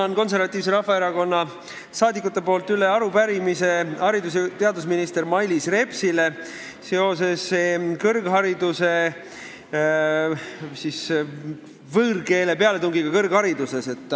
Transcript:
Annan Konservatiivse Rahvaerakonna fraktsiooni nimel üle arupärimise haridus- ja teadusminister Mailis Repsile, mis käsitleb võõrkeele pealetungi kõrghariduses.